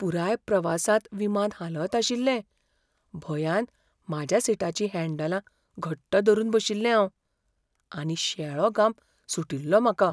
पुराय प्रवासांत विमान हालत आशिल्लें, भंयान म्हाज्या सिटाचीं हँडलां घट्ट धरून बशिल्लें हांव, आनी शेळो घाम सुटिल्लो म्हाका.